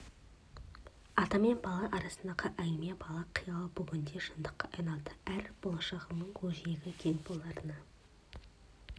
ата мен бала арасындағы әңгіме бала қиялы бүгінде шындыққа айналды әрі болашағының көкжиегі кең боларына